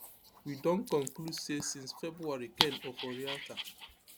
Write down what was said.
we don conclude say since february ken oforiatta